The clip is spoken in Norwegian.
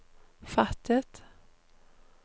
fattet